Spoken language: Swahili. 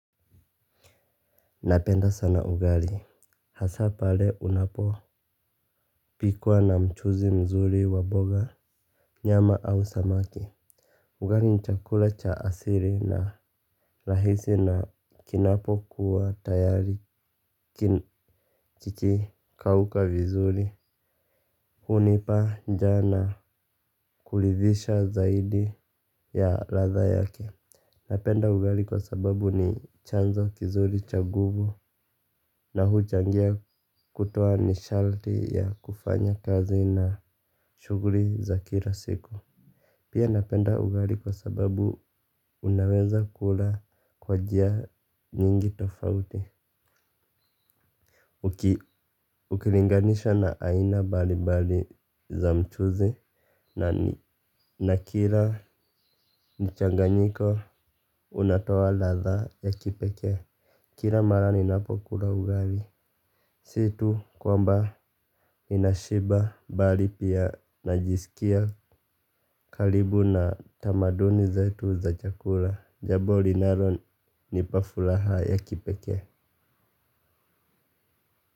Napenda sana ugali. Hasa pale unapopikwa na mchuzi mzuri wa boga nyama au samaki ugali ni chakula cha asili na rahisi na kinapokuwa tayari kikikauka vizuri hunipa njaa na kuridhisha zaidi ya ladha yake. Napenda ugali kwa sababu ni chanzo kizuri cha nguvu na huchangia kutoa ni sharti ya kufanya kazi na shuguli za kila siku. Pia napenda ugali kwa sababu unaweza kula kwa njia nyingi tofauti. Ukilinganisha na aina mbali mbali za mchuzi na kila mchanganyiko unatoa ladha ya kipekee. Kila mara ninapokula ugali si tu kwamba ninashiba bali pia najisikia karibu na tamaduni zetu za chakula. Jambo linalonipa furaha ya kipeke.